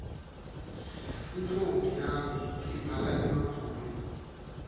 intfombi yami ibhala emabhulu